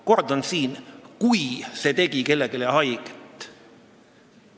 Kordan: kui see tegi kellelegi haiget.